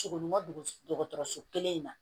Sogo ɲuman don dɔgɔtɔrɔso kelen in na